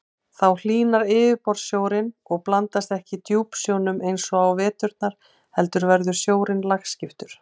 Þá hlýnar yfirborðssjórinn og blandast ekki djúpsjónum eins og á veturna heldur verður sjórinn lagskiptur.